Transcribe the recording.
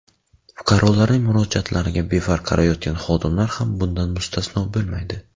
Fuqarolarning murojaatlariga befarq qarayotgan xodimlar ham bundan mustasno bo‘lmaydi.